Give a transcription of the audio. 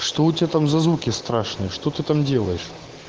что у тебя там за звуки страшные что ты там делаешь